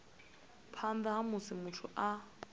phanḓa ha musi muthu a